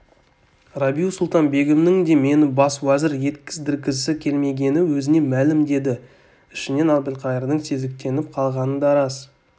рабиу-сұлтан-бегімнің де мені бас уәзір еткіздіргісі келмегені өзіне мәлім деді ішінен әбілқайырдың сезіктеніп қалғаны да рас